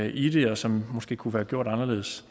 i og som måske kunne være gjort anderledes